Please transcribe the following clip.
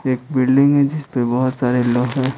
एक बिल्डिंग है जिस पे बहुत सारे लोग है।